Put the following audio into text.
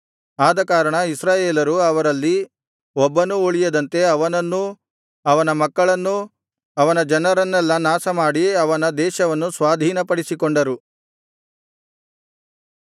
ಆದಕಾರಣ ಇಸ್ರಾಯೇಲರು ಅವರಲ್ಲಿ ಒಬ್ಬನೂ ಉಳಿಯದಂತೆ ಅವನನ್ನೂ ಅವನ ಮಕ್ಕಳನ್ನೂ ಅವನ ಜನರನ್ನೆಲ್ಲಾ ನಾಶಮಾಡಿ ಅವನ ದೇಶವನ್ನು ಸ್ವಾಧೀನಪಡಿಸಿಕೊಂಡರು